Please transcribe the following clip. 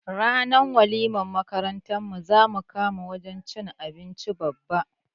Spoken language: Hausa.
Ranar walimar makarantar mu zamu kama wajan cin abinci Babba